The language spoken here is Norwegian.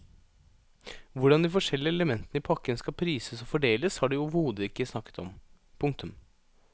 Hvordan de forskjellige elementene i pakken skal prises og fordeles har de overhodet ikke snakket om. punktum